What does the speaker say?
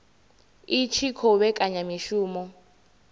i tshi khou vhekanya mishumo